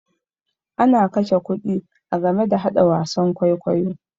Ana kashe kuɗi a game da haɗa wasan kwaikwayo.